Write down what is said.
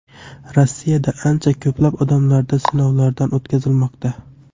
Rossiyada ancha ko‘plab odamlarda sinovdan o‘tkazilmoqda.